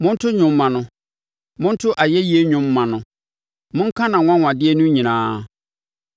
Monto dwom mma no, monto ayɛyie dwom mma no; monka nʼanwanwadeɛ no nyinaa.